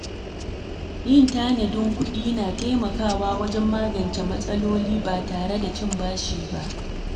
Yin tanadin kuɗi na taimakawa wajen magance matsaloli ba tare da cin bashi ba.